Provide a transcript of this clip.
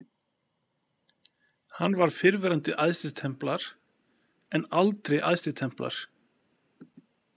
Hann var fyrrverandi æðstitemplar en aldrei æðstitemplar.